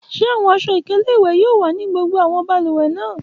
Ṣe awọn aṣọ-ikele iwẹ yoo wa ni gbogbo awọn balùwẹ naa?